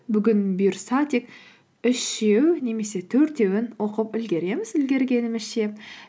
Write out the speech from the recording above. бүгін бұйырса тек үшеу немесе төртеуін оқып үлгереміз үлгергенімізше